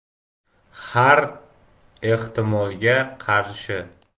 Har ehtimolga qarshi.